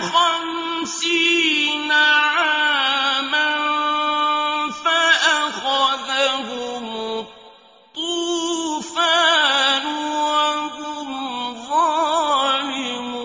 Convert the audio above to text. خَمْسِينَ عَامًا فَأَخَذَهُمُ الطُّوفَانُ وَهُمْ ظَالِمُونَ